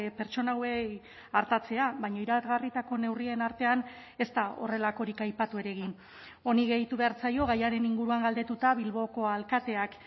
pertsona hauei artatzea baina iragarritako neurrien artean ez da horrelakorik aipatu ere egin honi gehitu behar zaio gaiaren inguruan galdetuta bilboko alkateak